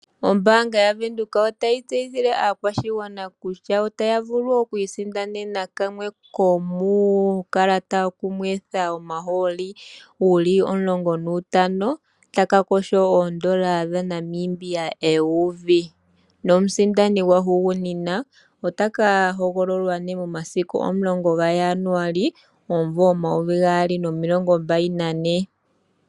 Ombaanga yaWindhoek ota yi tseyithile aakwashigwana kutya, otaya vulu okwii sindanena kamwe ko muukalata wokunwetha omahooli wuli omulongo nuutano. Taka kosho oondola dhaNamibia eyuvi, nomusindani gwahugunina otaka hogololwa nee momasiku 10 gaJanuali 2024.